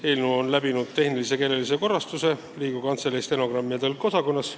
Eelnõu on läbi teinud tehnilise ja keelelise korrastuse Riigikogu Kantselei stenogrammi- ja tõlkeosakonnas.